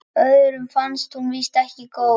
Öðrum fannst hún víst ekki góð.